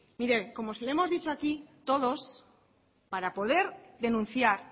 mire como se lo hemos dicho aquí todos para poder denunciar